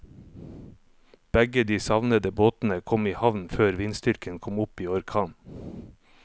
Begge de savnede båtene kom i havn før vindstyrken kom opp i orkan.